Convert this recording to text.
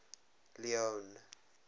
leone